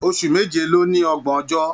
Oṣù méje ní o ní ọgbọn ọjọ́.